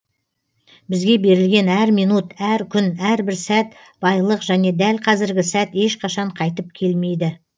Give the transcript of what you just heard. бізге берілген әр минут әр күн әрбір сәт байлық және дәл қазіргі сәт ешқашан қайтып келмейді